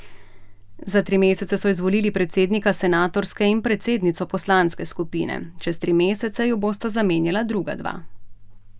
Za tri mesece so izvolili predsednika senatorske in predsednico poslanske skupine, čez tri mesece ju bosta zamenjala druga dva.